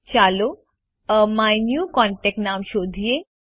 ચાલો એમીન્યુકોન્ટેક્ટ નામ શોધીએ